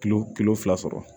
Kilo kilo fila sɔrɔ